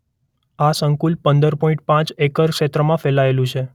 આ સંકુલ પંદર પોઇન્ટ પાંચ એકર ક્ષેત્રમાં ફેલાયેલું છે.